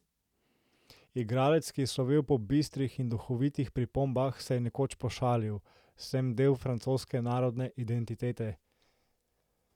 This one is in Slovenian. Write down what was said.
Igralec, ki je slovel po bistrih in duhovitih pripombah, se je nekoč pošalil: "Sem del francoske narodne identitete.